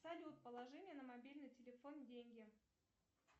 салют положи мне на мобильный телефон деньги